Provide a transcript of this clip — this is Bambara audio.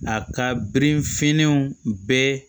A ka birinfiɲɛnw bɛɛ